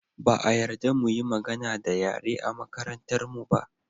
Ba a yarda mu yi magana da yare a makarantarmu ba